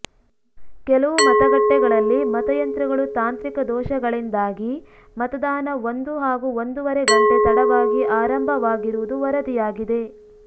ಕೆಲವು ಮತಗಟ್ಟೆಗಳಲ್ಲಿ ಮತಯಂತ್ರಗಳು ತಾಂತ್ರಿಕ ದೋಷಗಳಿಂದಾಗಿ ಮತದಾನ ಒಂದು ಹಾಗೂ ಒಂದೂವರೆ ಗಂಟೆ ತಡವಾಗಿ ಆರಂಭವಾಗಿರುವುದು ವರದಿಯಾಗಿದೆ